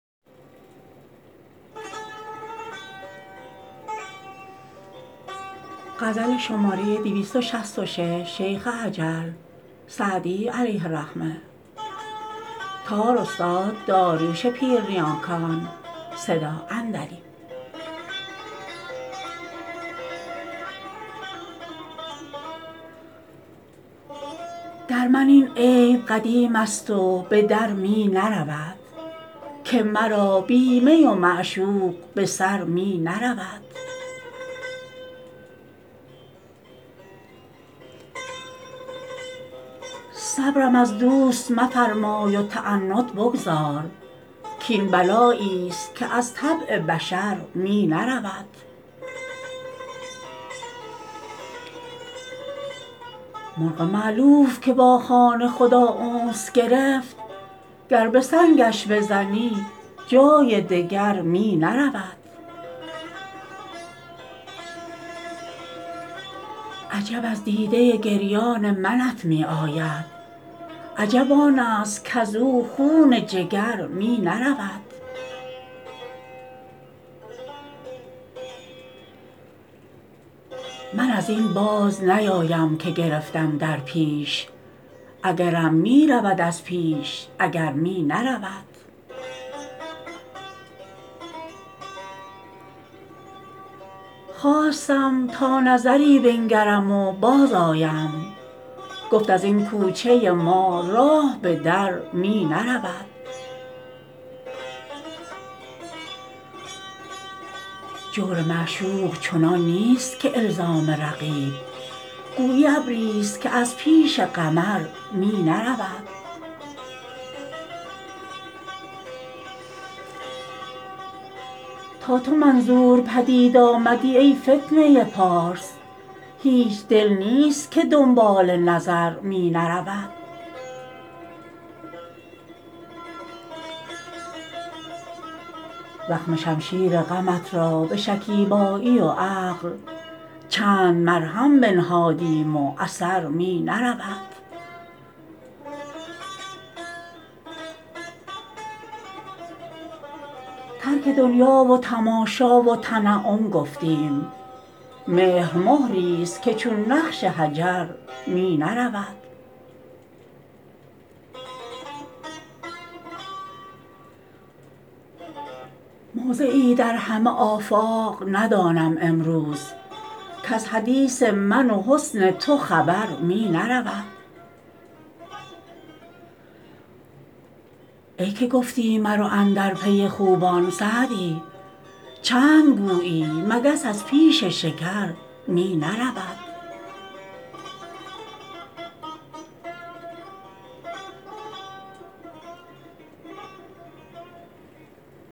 در من این عیب قدیم است و به در می نرود که مرا بی می و معشوق به سر می نرود صبرم از دوست مفرمای و تعنت بگذار کاین بلایی ست که از طبع بشر می نرود مرغ مألوف که با خانه خدا انس گرفت گر به سنگش بزنی جای دگر می نرود عجب از دیده گریان منت می آید عجب آن است کز او خون جگر می نرود من از این باز نیایم که گرفتم در پیش اگرم می رود از پیش اگر می نرود خواستم تا نظری بنگرم و بازآیم گفت از این کوچه ما راه به در می نرود جور معشوق چنان نیست که الزام رقیب گویی ابری ست که از پیش قمر می نرود تا تو منظور پدید آمدی ای فتنه پارس هیچ دل نیست که دنبال نظر می نرود زخم شمشیر غمت را به شکیبایی و عقل چند مرهم بنهادیم و اثر می نرود ترک دنیا و تماشا و تنعم گفتیم مهر مهری ست که چون نقش حجر می نرود موضعی در همه آفاق ندانم امروز کز حدیث من و حسن تو خبر می نرود ای که گفتی مرو اندر پی خوبان سعدی چند گویی مگس از پیش شکر می نرود